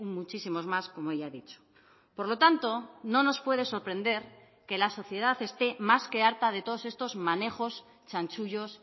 muchísimos más como ya he dicho por lo tanto no nos puede sorprender que la sociedad esté más que harta de todos estos manejos chanchullos